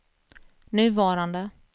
nuvarande